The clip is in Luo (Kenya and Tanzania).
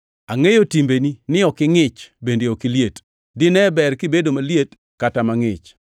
Angʼeyo timbeni ni ok ingʼich bende ok iliet. Dine ber kibedo maliet kata mangʼich!